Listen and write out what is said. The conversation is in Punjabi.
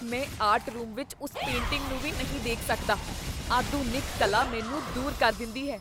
ਮੈਂ ਆਰਟ ਰੂਮ ਵਿੱਚ ਉਸ ਪੇਂਟਿੰਗ ਨੂੰ ਵੀ ਨਹੀਂ ਦੇਖ ਸਕਦਾ, ਆਧੁਨਿਕ ਕਲਾ ਮੈਨੂੰ ਦੂਰ ਕਰ ਦਿੰਦੀ ਹੈ।